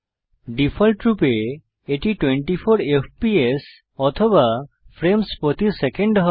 ডিফল্টরূপে এটি 24 এফপিএস বা ফ্রেমস প্রতি সেকেন্ডে হয়